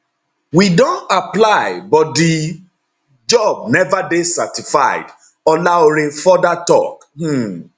we don apply but di job neva dey certified olaore further tok um